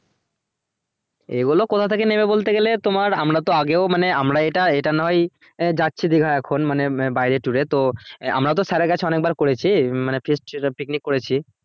এগুলো কথা থেকে নেবে বলতে গেলে তোমার আমরা তো আগেও মানে আমরা এটা এটা নয়ই যাচ্ছি যে এখন মানে বাইরে tour এ তো আমরা তো sir এর কাছে অনেকবার করেছি মানে feast ছিলো picnic করেছি